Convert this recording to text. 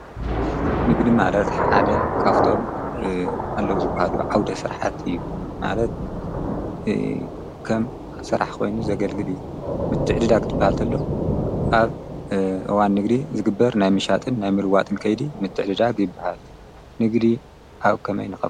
ንግዲ ማለት ሓደ ካብቶም ኣለዉ ዝብሃሉ ዓውደ ስራሕቲ እዩ። ማለት ከም ስራሕ ኮይኑ ዘገልግል እዩ፣ ምትዕድዳግ ኽብሃል እንተሎ ኣብ እዋን ንግዲ ዝግበር ናይ ምሻጥን ናይ ምልዋጥን ከይዲ ምትዕድዳግ ይበሃል። ንግዲ ኣብ ከመይ ነኸ